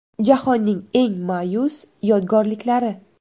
Jahonning eng ma’yus yodgorliklari.